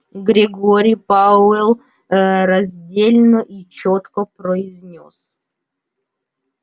грегори пауэлл ээ раздельно и чётко произнёс